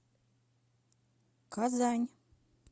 казань